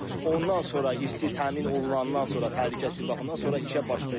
Ondan sonra işçi təmin olunandan sonra təhlükəsizlik baxımından sonra işə başlayır.